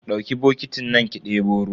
Dauki bokitin nan ki debo ruwa.